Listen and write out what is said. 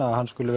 skuli